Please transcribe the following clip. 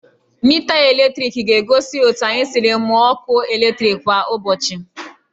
Mita eletriki ga-egosi otu anyị siri mụọ ọkụ eletriki kwa ụbọchị